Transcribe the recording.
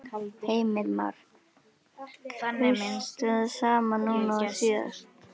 Heimir Már: Kaustu það sama núna og síðast?